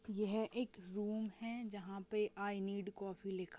यहाँ एक रूम है जहाँ पे आई नीड़ कॉफी लिखा--